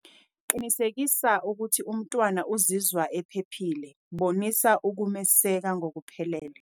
Qinisekisa ukuthi umntwana uzizwa ephephile, bonisa ukumeseka ngokuphelele.